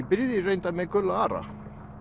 byrjaði reyndar með Guðlaug Ara